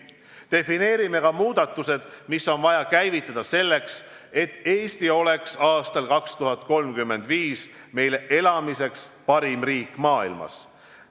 Defineerime ka muudatused, mis on vaja käivitada selleks, et Eesti oleks aastal 2035 meile elamiseks parim riik maailmas.